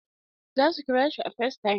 Za su kira shi a facetime.